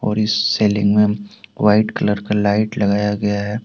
और इस सेलिंग में वाइट कलर का लाइट लगाया गया है।